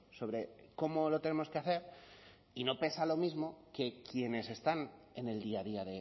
sobre cómo lo tenemos que hacer y no pesa lo mismo que quienes están en el día a día